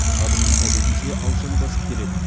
адымын әдетінше алшаң басып келеді